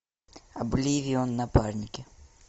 обливион напарники